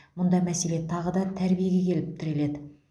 мұнда мәселе тағы да тәрбиеге келіп тіреледі